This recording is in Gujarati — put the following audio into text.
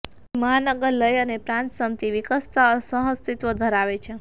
અહીં મહાનગર લય અને પ્રાંત પામતી વિકસતા જતા સહઅસ્તિત્વ ધરાવે છે